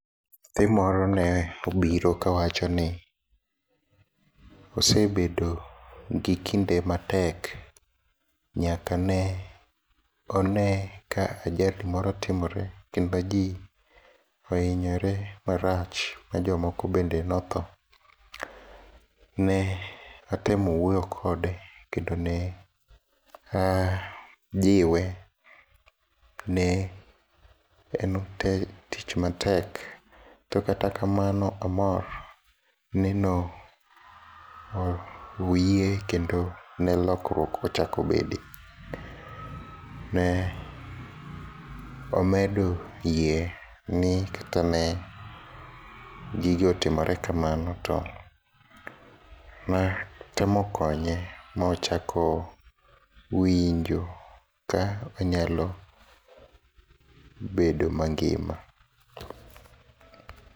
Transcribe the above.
Nyathi moro neobiro kawachoni osebedo gi kinde matek nyakane one ka ajali moro timore kendo jii ohinyore marach majomoko bende nothoo. Ne atemo wuoyo kode kendo neajiwe ni tich matek to kata kamano amor ni no oyie kendo ne lokruok ochako bede. Ne omedo yie ni kata ne gige otimore kamano to natemo konye mochako winjo ka onyalo bedo mangima.